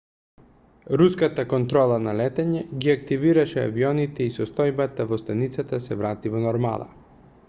руската контрола на летање ги активираше авионите и состојбата во станицата се врати во нормала